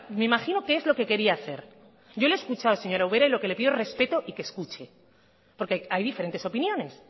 me imagino que es lo que quería hacer yo le he escuchado señora ubera y lo que le pido respeto y que escuche porque hay diferentes opiniones